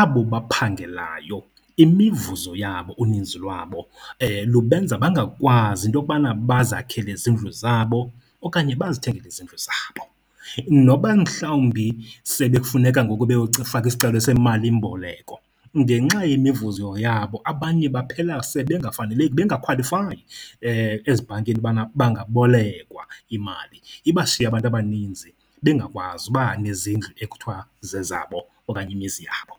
Abo baphangelayo imivuzo yabo uninzi lwabo lubenza bangakwazi into yokubana bazakhele izindlu zabo okanye bazithengele izindlu zabo. Noba mhlawumbi bekufuneka ngoku faka isicelo semalimboleko, ngenxa yemivuzo yabo abanye baphela sebengafaneleki, bengakhwalifayi ezibhankini ubana bangabolekwa imali, ibashiye abantu abaninzi bengakwazi uba nezindlu ekuthiwa zezabo okanye imizi yabo.